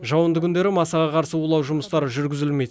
жауынды күндері масаға қарсы улау жұмыстары жүргізілмейді